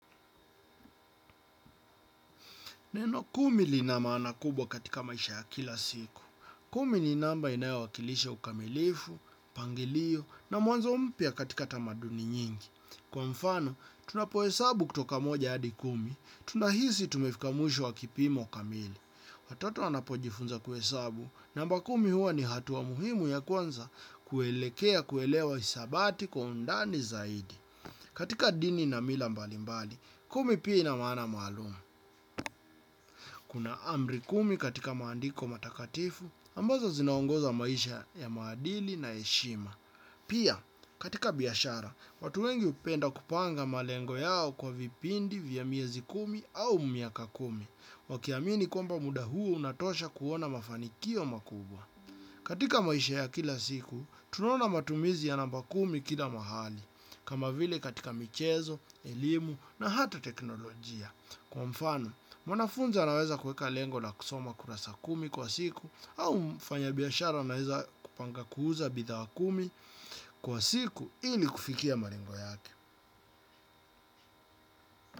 Neno kumi lina maana kubwa katika maisha ya kila siku. Kumi ni namba inaewa kilishe ukamilifu, pangilio na muanzo umpia katika tamaduni nyingi. Kwa mfano, tunapoe sabu kutoka moja adi kumi, tunahisi tumefika mwisho wa kipimo kamili. Watoto anapojifunza kue sabu, namba kumi huwa ni hatu wa muhimu ya kwanza kuelekea kuelewa isabati kwa undani zaidi. Katika dini na mila mbali mbali, kumi pia ina maana malumu. Kuna amri kumi katika maandiko matakatifu, ambazo zinaongoza maisha ya maadili na eshima. Pia, katika biyashara, watu wengi upenda kupanga malengo yao kwa vipindi vya miyezi kumi au mmiaka kumi, wakiamini kumba muda huo unatosha kuona mafanikio makubwa. Katika maisha ya kila siku, tunaona matumizi ya namba kumi kida mahali, kama vile katika michezo, ilimu na hata teknolojia. Kwa mfanu, mwanafunza naweza kueka lengo na kusoma kurasa kumi kwa siku, au mfanya biyashara naweza kupanga kuuza bidha wa kumi kwa siku ili kufikia maringo yake.